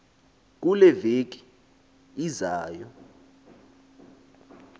kule veki izayo